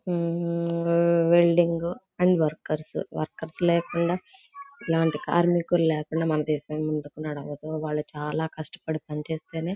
హుం welding అయి workers workers లేకుండా ఇలాంటి కార్మికులు లేకుండా మన దేశం ముందుకు నడవదు వాళ్ళు చాలా కస్టపడి పనిచేస్తేనే--